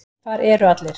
Hvar eru allir?